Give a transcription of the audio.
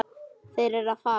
Þeir eru að fara.